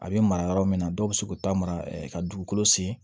A bɛ mara yɔrɔ min na dɔw bɛ se k'u ta mara ka dugukolo sen